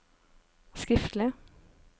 skriftlig